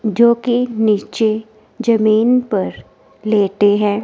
जो कि नीचे जमीन पर लेटे हैं।